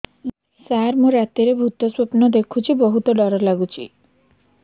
ସାର ମୁ ରାତିରେ ଭୁତ ସ୍ୱପ୍ନ ଦେଖୁଚି ବହୁତ ଡର ଲାଗୁଚି